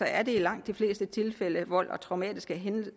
er det i langt de fleste tilfælde vold og traumatiske hændelser